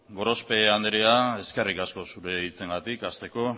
gorospe anderea eskerrik asko zure hitzengatik hasteko